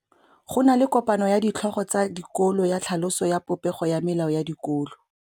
Go na le kopanô ya ditlhogo tsa dikolo ya tlhaloso ya popêgô ya melao ya dikolo.